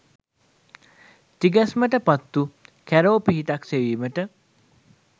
තිගැස්මට පත්වූ කැරෝ පිහිටක් සෙවීමට